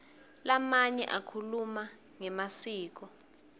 lamanye akhuluma ngemasiko